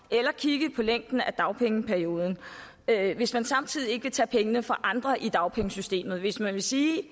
eller at kigge på længden af dagpengeperioden hvis man samtidig ikke vil tage pengene fra andre i dagpengesystemet hvis man vil sige